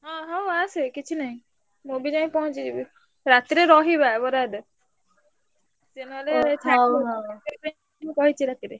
ହଁ ହଁ ଆସେ କିଛି ନାହିଁ। ମୁଁ ବି ଯାଇ ପହଁଞ୍ଚିଯିବି। ରାତିରେ ରହିବା ବର ଆଇଲେ। ସେ ନହେଲେ ମୁଁ କହିଛି ରାତିରେ।